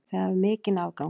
Þið hafið mikinn afgang.